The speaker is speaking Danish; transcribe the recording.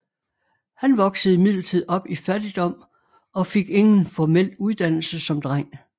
Han voksede imidlertid op i fattigdom og fik ingen formel uddannelse som dreng